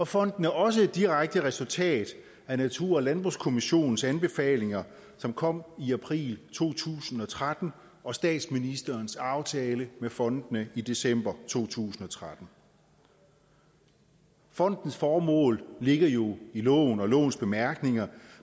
fonden er også et direkte resultat af natur og landbrugskommissionens anbefalinger som kom i april to tusind og tretten og statsministerens aftale med fondene i december to tusind og tretten fondens formål ligger jo i loven og lovens bemærkninger